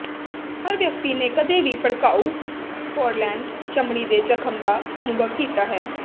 ਹਰ ਵਿਅਕਤੀ ਨੇ ਕਦੇ ਵੀ ਭੜਕਾਊ ਪੋਰਲੈਂਟ ਚਮੜੀ ਦੇ ਜਖਮ ਦਾ ਅਨੁਭਵ ਕੀਤਾ ਹੈ